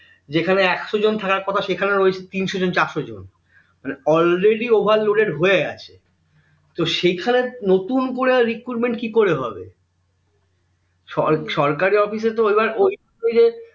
যেখানে একশো জন থাকার কথা সেখানে রয়েছে তিনশো জন চারশো জন মানে already overloaded হয়ে আছে তো সেখানে নতুন করে recuritment কি করে হবে সরকারী office তো এইবার ওই ওই যে